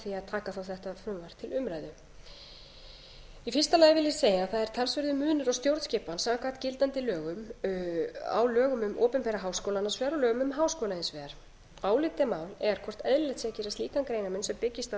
taka þá þetta frumvarp til umræðu í fyrsta lagi vil ég segja að það er talsverður munur á stjórnskipan samkvæmt gildandi lögum á lögum um opinbera háskóla annars vegar og lögum um háskóla hins vegar álitamál er hvort eðlilegt sé að gera slíkan greinarmun sem byggist á